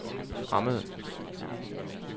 fremmede